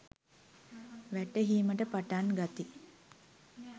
වැටහීමට පටන් ගති